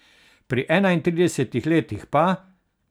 Pri enaintridesetih letih pa ...